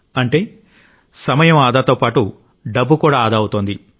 అంటే సమయం ఆదా తో పాటు డబ్బు కూడా ఆదా అవుతోంది